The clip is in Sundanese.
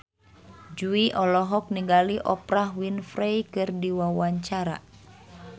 Jui olohok ningali Oprah Winfrey keur diwawancara